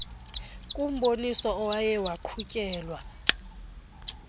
kumboniso owaye waqhutyelwa